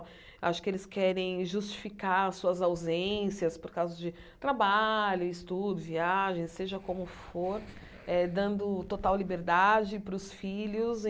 Acho que eles querem justificar suas ausências por causa de trabalho, estudo, viagens, seja como for eh, dando total liberdade para os filhos.